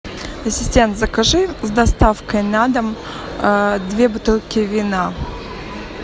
ассистент закажи с доставкой на дом две бутылки вина